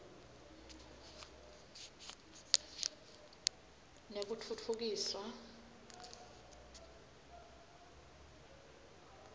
nekutfutfukiswa